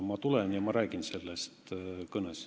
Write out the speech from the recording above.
Ma tulen ja räägin sellest oma kõnes.